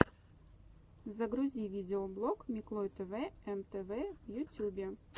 загрузи видеоблог миклой тэвэ эм тэ вэ в ютюбе